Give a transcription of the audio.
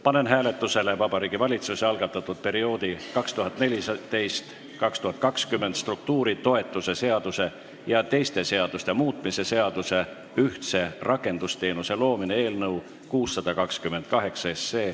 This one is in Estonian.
Panen hääletusele Vabariigi Valitsuse algatatud perioodi 2014–2020 struktuuritoetuse seaduse ja teiste seaduste muutmise seaduse eelnõu 628.